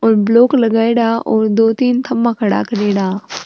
और ब्लॉक लगयेड़ा है और दो तीन थम्भा खड़ा करेड़ा हा।